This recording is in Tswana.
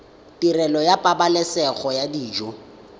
tirelo ya pabalesego ya dijo